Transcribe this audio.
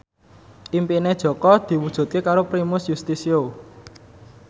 impine Jaka diwujudke karo Primus Yustisio